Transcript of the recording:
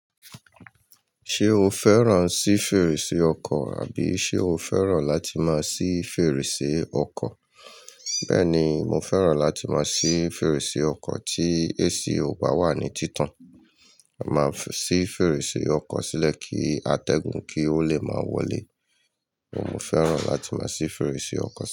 Ṣé o fẹ́ràn sí fèrèsé ọkọ̀ àbí ṣe o fẹ́ràn láti máa sí fèrèsé ọkọ̀? Bẹ́ẹ̀ni, mo fẹ́ràn láti máa sí fèrèsé ọkọ̀ tí AC ò bá wà ní títàn. Máa fí si fèrèsé ọkọ̀ sílẹ̀ kí atẹ́gùn kí ó le máa wọlé. Óun mo fẹ́ràn láti máa sí fèrèsé ọkọ̀ si.